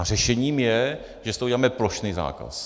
A řešením je, že z toho uděláme plošný zákaz.